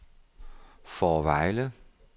Fårevejle